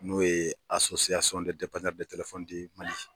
N'o ye Mali.